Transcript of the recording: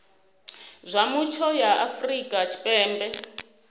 zwa mutsho ya afrika tshipembe